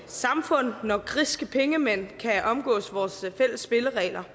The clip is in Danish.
samfund når griske pengemænd kan omgå vores fælles spilleregler